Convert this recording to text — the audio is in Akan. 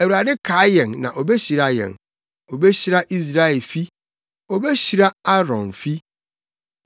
Awurade kae yɛn na obehyira yɛn: Obehyira Israelfi, obehyira Aaronfi